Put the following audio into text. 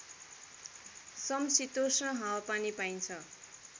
शमशितोष्ण हावापानी पाइन्छ